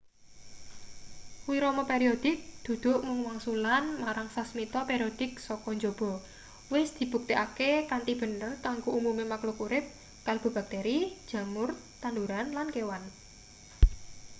wirama periodik dudu mung wangsulan marang sasmita periodik saka njaba wis dibuktekake kanthi bener kanggo umume makluk urip kalebu bakteri jamur tanduran lan kewan